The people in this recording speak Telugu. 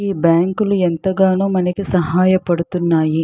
ఈ బ్యాంకులు ఎంతగానో మనకి సహాయ పడుతున్నాయి.